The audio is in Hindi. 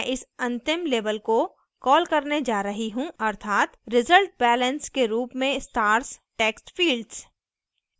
मैं इस अंतिम label को कॉल करने जा रही हूँ अर्थात resultbalance के रूप में stars टेक्स्टफिल्ड्स